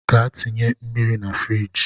Gaa tinye mmiri na firigi!